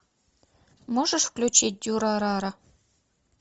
можешь включить дюрарара